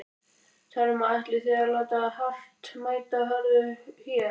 Telma: Ætlið þið að láta hart mæta hörðu hér?